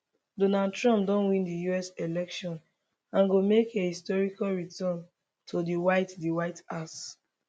donald trump don win di us election and go make a historic return to di white di white house